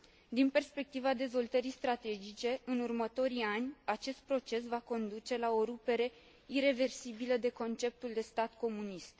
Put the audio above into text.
Din perspectiva dezvoltării strategice, în următorii ani, acest proces va conduce la o rupere ireversibilă de conceptul de stat comunist.